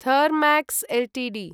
Thermax Ltd